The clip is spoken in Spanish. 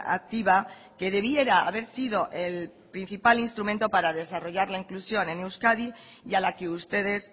activa que debiera haber sido el principal instrumento para desarrollar la inclusión en euskadi y a la que ustedes